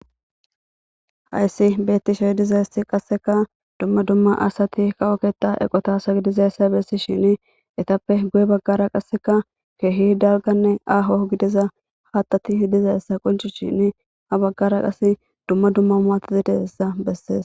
Hayssi betishe dizayssi qasekka dumma dumma asati kawo keththa eqqota asa gididayssa bessishinni ettappe guye baggara qasekka keehi dalgganne aaho gidiza haththatti dizayssa qoncisishinni ha baggara qase dumma dumma makina dizayssa besses.